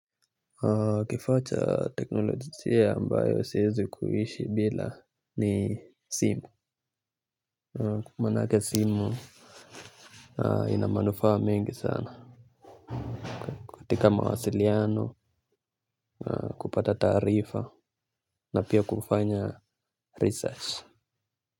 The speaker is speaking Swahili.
Kifaa cha teknolojia ambayo siezi kuishi bila ni simu. Kwa maanake simu ina manufaa mengi sana katika mawasiliano kupata taarifa na pia kufanya research.